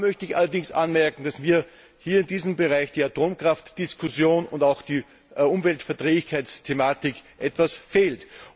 Dazu möchte ich allerdings anmerken, dass mir in diesem Bereich die Atomkraftdiskussion und auch die Umweltverträglichkeitsthematik etwas fehlen.